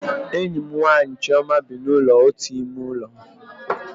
Enyi m nwaanyị Chioma bi na ụlọ otu ime ụlọ